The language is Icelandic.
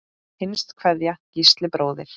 Hinsta kveðja, Gísli bróðir.